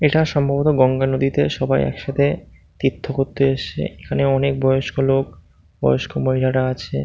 এটা সম্ভবত গঙ্গা নদীতে সবাই একসাথে তীর্থ করতে এসেছে। এখানে অনেক বয়স্ক লোক বয়স্ক মহিলারা আছে।